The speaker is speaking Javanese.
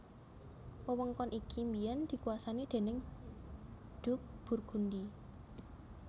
Wewengkon iki biyèn dikuwasani déning Duke Burgundy